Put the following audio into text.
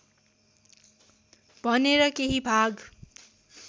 भनेर केही भाग